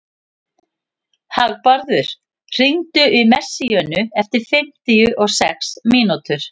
Hagbarður, hringdu í Messíönu eftir fimmtíu og sex mínútur.